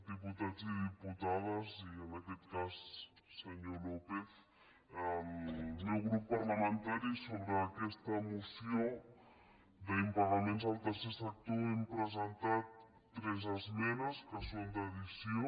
diputats i diputades i en aquest cas senyor lópez el meu grup parlamentari sobre aquesta moció d’impagaments al tercer sector hem presentat tres esmenes que són d’addició